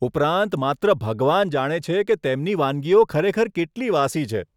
ઉપરાંત, માત્ર ભગવાન જાણે છે કે તેમની વાનગીઓ ખરેખર કેટલી વાસી છે.